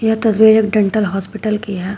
तस्वीर एक dental hospital की है।